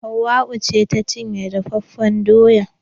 Hauwau ce ta cinye dafafen doyan.